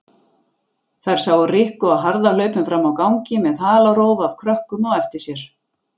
Þær sáu Rikku á harðahlaupum frammi á gangi með halarófu af krökkum á eftir sér.